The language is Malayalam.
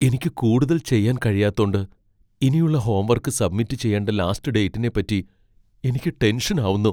എനിക്ക് കൂടുതൽ ചെയ്യാൻ കഴിയാത്തോണ്ട് ഇനിയുള്ള ഹോംവർക്ക് സബ്മിറ്റ് ചെയ്യേണ്ട ലാസ്റ്റ് ഡേറ്റിനെ പറ്റി എനിക്ക് ടെൻഷൻ ആവുന്നു.